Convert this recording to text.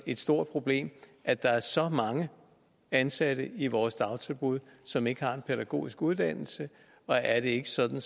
et stort problem at der er så mange ansatte i vores dagtilbud som ikke har en pædagogisk uddannelse og er det ikke sådan